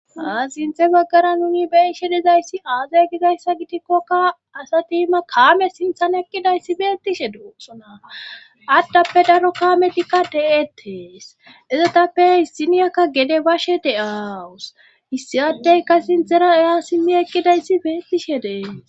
Haa sinthe baggara nuni beyishe dizayssi aazay gizayssa gidikkokka asa tiima kaame sinthan eqqidayssi beettishe duosona addappe daro kaametikka deettees ezetappe hissiniyakka gede bashe de7aawus issiadeyka sinthera eya simmi eqqidayssi beettishe de'ees